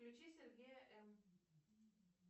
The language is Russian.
включи сергея эн